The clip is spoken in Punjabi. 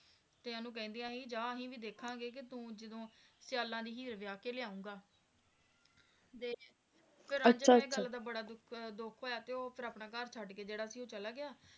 ਤੇ ਓਹਨੂੰ ਕਹਿੰਦਿਆਂ ਸੀ ਵੀ ਜਾ ਅਸੀਂ ਵੀ ਦੇਖਾਂਗੇ ਕਿ ਤੂੰ ਜਦੋ ਸਿਆਲਾਂ ਦੀ ਹੀਰ ਵਾਹ ਕੇ ਲੌਂਗ ਤੇ ਰਾਂਝੇ ਨੂੰ ਇਸ ਗੱਲ ਦਾ ਬੜਾ ਦੁੱਖ ਹੋਇਆ ਤੇ ਉਹ ਫਰ ਆਪਣੇ ਘਰ ਛੱਡ ਕੇ ਜਿਹੜਾ ਸੀ ਚਲਾ ਗਿਆ